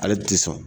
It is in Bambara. Ale ti sɔn